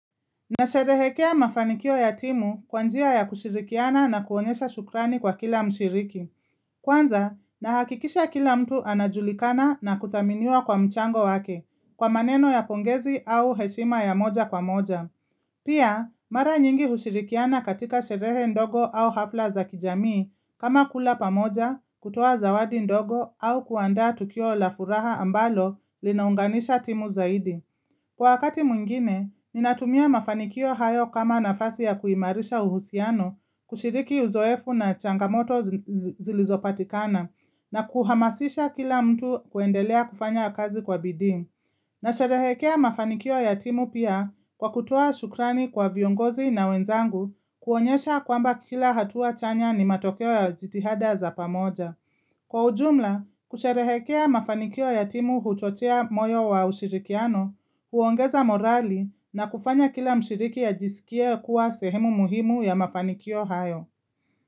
Nasherehekea mafanikio ya timu kwa njia ya kushirikiana na kuonyesha shukrani kwa kila mshiriki. Kwanza, nahakikisha kila mtu anajulikana na kuthaminiwa kwa mchango wake, kwa maneno ya pongezi au heshima ya moja kwa moja. Pia, mara nyingi hushirikiana katika sherehe ndogo au hafla za kijamii, kama kula pamoja, kutoa zawadi ndogo au kuanda tukio la furaha ambalo linaunganisha timu zaidi. Kwa wakati mwingine, ninatumia mafanikio hayo kama nafasi ya kuimarisha uhusiano, kushiriki uzoefu na changamoto zilizopatikana na kuhamasisha kila mtu kuendelea kufanya kazi kwa bidii. Nasherehekea mafanikio ya timu pia kwa kutoa shukrani kwa viongozi na wenzangu, kuonyesha kwamba kila hatua chanya ni matokeo ya jitihada za pamoja. Kwa ujumla, kusherehekea mafanikio ya timu huchochea moyo wa ushirikiano, huongeza morali na kufanya kila mshiriki ajisikie kuwa sehemu muhimu ya mafanikio hayo.